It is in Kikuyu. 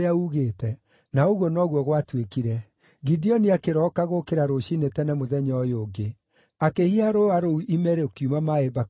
Na ũguo noguo gwatuĩkire. Gideoni akĩroka gũũkĩra rũciinĩ tene mũthenya ũyũ ũngĩ; akĩhiha rũũa rũu ime rũkiuma maaĩ mbakũri ĩmwe.